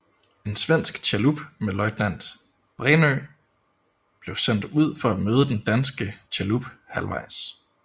En svensk chalup med løjtnant Brännö blev sendt ud for at møde den danske chalup halvvejs